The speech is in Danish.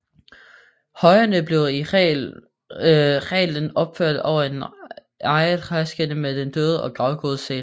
Højene blev i reglen opført over en egetræskiste med den døde og gravgodset